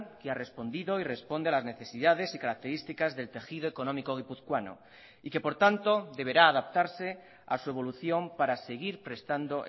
que ha respondido y responde a las necesidades y características del tejido económico guipuzcoano y que por tanto deberá adaptarse a su evolución para seguir prestando